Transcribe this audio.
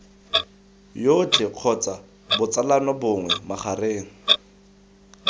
jotlhe kgotsa botsalano bongwe magareng